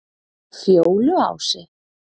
Fjóluási